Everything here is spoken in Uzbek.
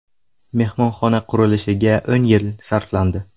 Mehmonxona qurilishiga o‘n yil sarflandi.